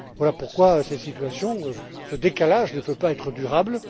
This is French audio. Voilà pourquoi cette situation, ce décalage, ne peut pas être durable.